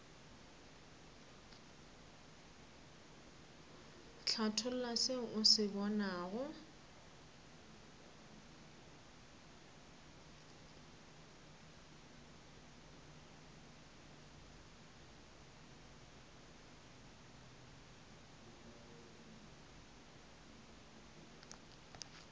hlatholla se o se bonago